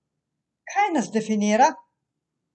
Kaj nas definira?